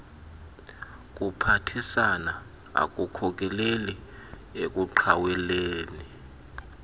kuphathisana akukhokeleli ekuqhaweleni